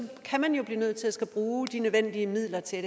kan man jo blive nødt til at skulle bruge de nødvendige midler til